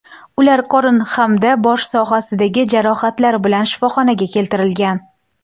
Ular qorin hamda bosh sohasidagi jarohatlar bilan shifoxonaga keltirilgan.